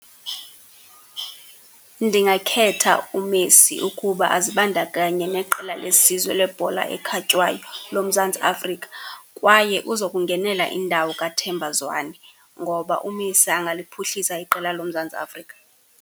Ndingakhetha uMessi ukuba azibandakanye neqela lesizwe lebhola ekhatywayo loMzantsi Afrika, kwaye uzokungenela indawo kaThemba Zwane, ngoba uMessi angaliphuhlisa iqela loMzantsi Afrika.